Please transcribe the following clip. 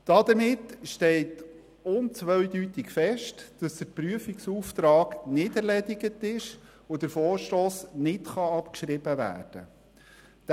Damit steht unzweideutig fest, dass der Prüfungsauftrag nicht erledigt ist und der Vorstoss nicht abgeschrieben werden kann.